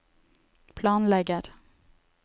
planlegger